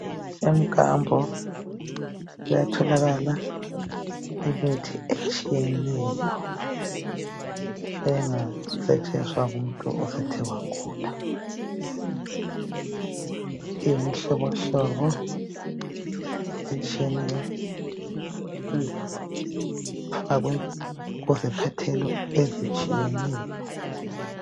emkambo kuyatholakalaimithi etshiyeneyo esingasetshenziswa ungumutu osokewagula imihlobo hlobohlobo etshiyeneyo ifakwe kuziphathelwa ezitshiyeneyo